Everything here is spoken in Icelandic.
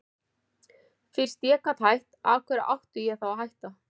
Fyrst ég gat hætt, af hverju átti ég þá að hætta?